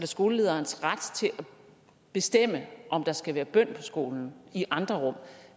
skolelederens ret til at bestemme om der skal være bøn på skolen i andre rum